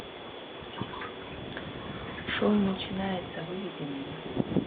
шоу начинается выведи мне